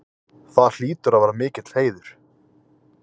Það hlýtur að vera mikill heiður?